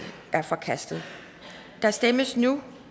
er forkastet der stemmes nu